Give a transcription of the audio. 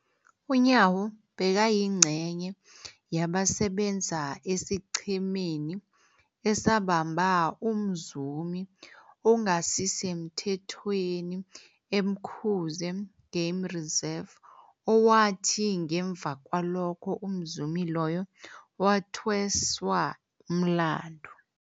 UNyawo bekayingcenye yabasebenza esiqhemeni esabamba umzumi ongasisemthethweni e-Umkhuze Game Reserve, owathi ngemva kwalokho umzumi loyo wathweswa umlandu.